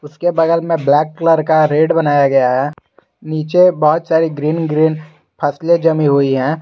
उसके बगल में ब्लैक कलर का रेट बनाया गया है नीचे बहुत सारी ग्रीन ग्रीन फसलें जमी हुई है।